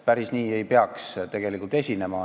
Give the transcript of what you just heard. Päris nii ei peaks tegelikult esinema.